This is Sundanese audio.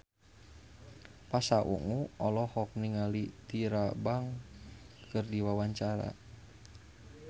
Pasha Ungu olohok ningali Tyra Banks keur diwawancara